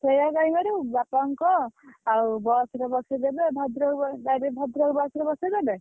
ସେୟା କାଇଁ କରିବୁ ବାପା ଙ୍କୁ କହ ଆଉ bus ରେ ବସେଇଦେବେ ଭଦ୍ରକ ବ ଗାଡିରେ ଭଦ୍ରକ bus ରେ ବସେଇଦେବେ।